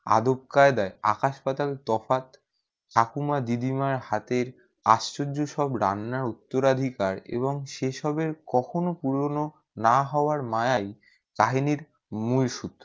আদব কায়দায়ে আকাশ পাতাল তফাৎ ঠাকুর মা দিদি মা হাতের আশ্চর্য সব রান্না উত্তরাধিকার এবং সে সবে কখনো পুরোনো না হবার মায়া ই তাহিনীর মূল সূত্র